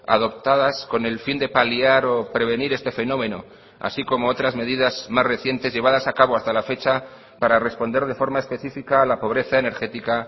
adoptadas con el fin de paliar o prevenir este fenómeno así como otras medidas más recientes llevadas a cabo hasta la fecha para responder de forma específica a la pobreza energética